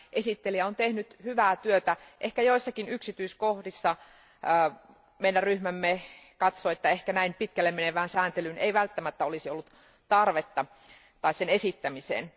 Esittelijä on tehnyt hyvää työtä, ehkä joissakin yksityiskohdissa meidän ryhmämme katsoi, että ehkä näin pitkälle menevään sääntelyyn ei välttämättä olisi ollut tarvetta, tai sen esittämiseen.